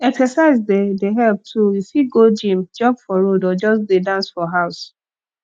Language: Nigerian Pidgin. exercise dey dey help too you fit go gym jog for road or just just dey dance for house